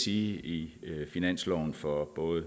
i i finansloven for både